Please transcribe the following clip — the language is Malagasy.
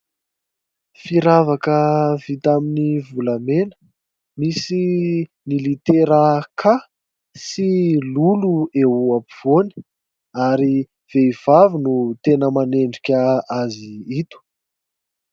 Firavaka vita amin'ny volamena, misy ny litera "k" sy lolo eo ampovoany ary vehivavy no tena manendrika azy ito.